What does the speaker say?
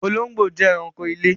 Olongbo jẹ́ èránkò ilẹ̀.